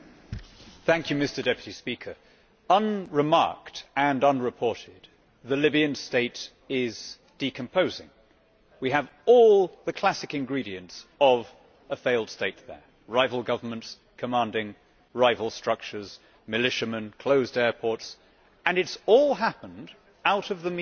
Mr President, unremarked and unreported, the Libyan state is decomposing. We have all the classic ingredients of a failed state there rival governments commanding rival structures, militiamen, closed airports and it has all happened out of the media eye.